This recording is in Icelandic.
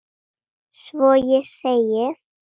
Svo ég segi